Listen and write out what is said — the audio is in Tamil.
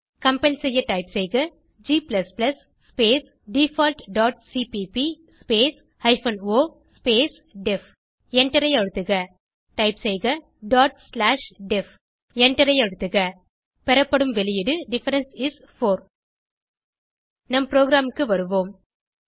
கம்பைல் செய்ய டைப் செய்க g space default dot CPP space hyphen O space def எண்டரை அழுத்துக டைப் செய்க டாட் ஸ்லாஷ் டெஃப் எண்டரை அழுத்துக பெறப்படும் வெளியீடு டிஃபரன்ஸ் இஸ் 4 நம் ப்ரோகிராமுக்கு வருவோம்